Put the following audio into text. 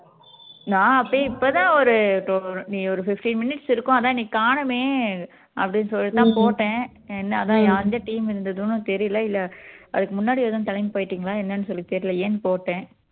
நான் அப்பயே இப்போ தான் ஒரு நீ ஒரு fifteen minutes இருக்கும் அதான் நீ காணுமே அப்படின்னு சொல்லிட்டு தான் போட்டேன் என்ன அதான் யா எந்த இருந்துதுன்னும் தெரியல இல்ல அதுக்கு முன்னாடி எதும் கிளம்பி போயிட்டீங்களா என்னன்னு சொல்லி தெரியலையேன்னு போட்டேன்